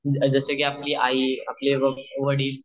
जस कि आपली आई आपले आ वडील